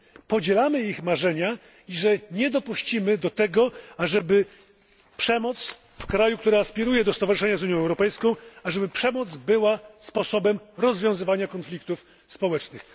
podzielamy ich marzenia i nie dopuścimy do tego, ażeby przemoc w kraju, który aspiruje do stowarzyszenia z Unią Europejską, była sposobem rozwiązywania konfliktów społecznych.